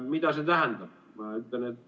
Mida see tähendab?